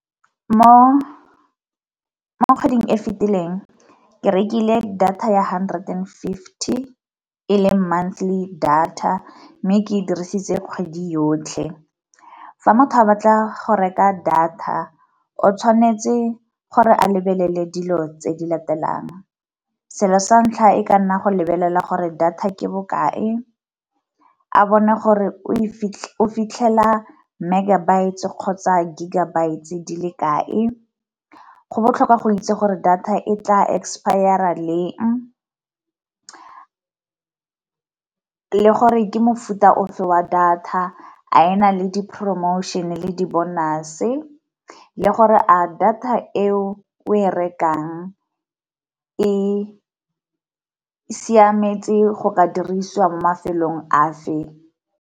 Mo kgweding e fitileng ke rekile data ya hundred and fifty e leng monthly data, mme ke e dirisitse kgwedi yotlhe. Fa motho a batla go reka data o tshwanetse gore a lebelele dilo tse di latelang selo sa ntlha e ka nna go lebelela gore data ke bokae, a bone gore o fitlhela megabytes kgotsa gigabytes di le kae, go botlhokwa go itse gore data e tla expire-ra leng, le gore ke mofuta ofe wa data a ena le di-promotion le di-bonus le gore a data eo e rekang e siametse go ka dirisiwa mo mafelong a fe.